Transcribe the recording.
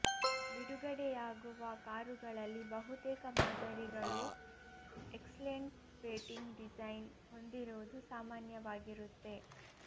ಬಿಡುಗಡೆಯಾಗುವ ಕಾರುಗಳಲ್ಲಿ ಬಹುತೇಕ ಮಾದರಿಗಳು ಎಕ್ಸ್ಲೆಂಟ್ ಪೇಂಟಿಂಗ್ ಡಿಸೈನ್ ಹೊಂದಿರುವುದು ಸಾಮಾನ್ಯವಾಗಿರುತ್ತೆ